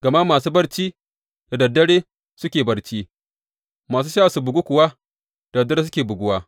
Gama masu barci, da dad dare suke barci, masu sha su bugu kuwa, da dad dare suke buguwa.